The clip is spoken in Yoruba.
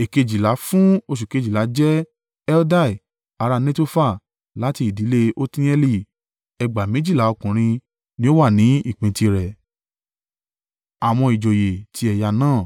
Èkejìlá fún oṣù kejìlá jẹ́ Heldai ará Netofa láti ìdílé Otnieli. Ẹgbàá méjìlá (24,000) ọkùnrin ni ó wà ní ìpín tirẹ̀.